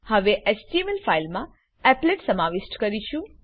હવે એચટીએમએલ ફાઈલમાં એપ્લેટ સમાવિષ્ટ કરીશું